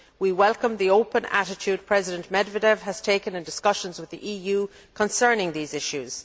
We welcome the open attitude President Medvedev has taken in discussions with the EU concerning these issues.